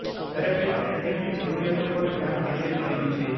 દરેક વ્યક્તિને તેમની જરૂરિયાતો પર ધ્યાન કેન્દ્રિત કર્યું છે